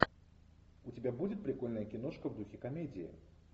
у тебя будет прикольная киношка в духе комедии